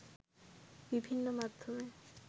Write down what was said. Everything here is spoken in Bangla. বিভিন্ন মাধ্যমে